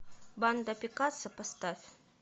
банда пикассо поставь